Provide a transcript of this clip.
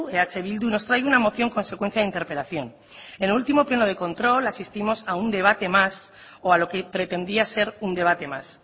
eh bildu nos trae una moción consecuencia de interpelación en el último pleno de control asistimos a un debate más o a lo que pretendía ser un debate más